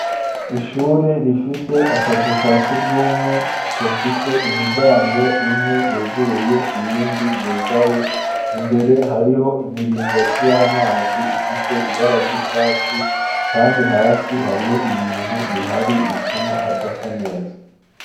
Ishure rifise akazu ka sugumwe kafise imiryango imwe yuguruye iyindi yugaye imbere hariho imiringo c'y'amazi ifise ibarary'icatsi, kandi hasi hariho ibintu bihari bituma hadasa neza.